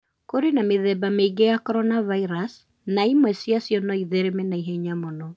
Kũrĩ na mĩthemba mĩingĩ ya coronaviruses, na imwe ciacio no ithereme na ihenya mũno.